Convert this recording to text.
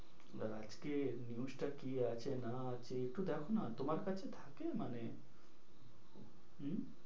আর আজকের news টা কি আছে? না আছে? একটু দেখো না তোমার কাছে থাকে মানে উহ